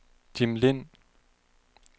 Jim Lind